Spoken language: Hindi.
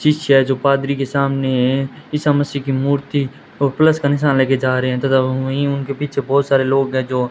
शिष्य है जो पादरी के सामने है ईसा मसीह की मूर्ति को प्लस का निशान लेके जा रहे है तथा वो वहीं उनके पीछे बहोत सारे लोग है जो --